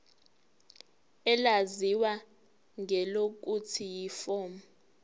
elaziwa ngelokuthi yiform